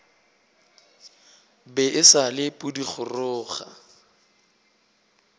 be e sa le pudigoroga